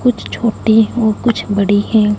कुछ छोटे हों कुछ बड़े हैं।